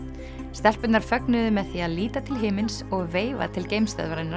stelpurnar fögnuðu með því að líta til himins og veifa til